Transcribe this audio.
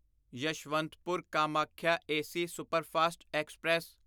Yeshwantpur Kamakhya AC superfast express